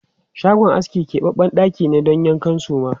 Shagon aski kebabben ɗaki ne don yankan suma.